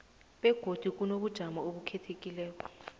begodu kunobujamo obukhethekileko